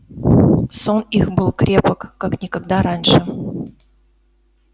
сон их был крепок как никогда раньше